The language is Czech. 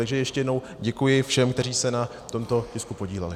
Takže ještě jednou, děkuji všem, kteří se na tomto tisku podíleli.